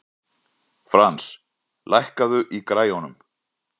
Frans, lækkaðu í græjunum.